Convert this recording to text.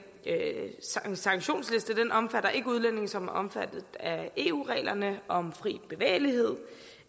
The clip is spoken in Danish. sanktionsliste omfatter ikke udlændinge som er omfattet af eu reglerne om fri bevægelighed